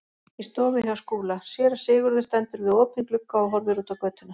Í stofu hjá Skúla: Séra Sigurður stendur við opinn glugga og horfir út á götuna.